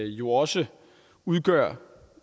jo også udgør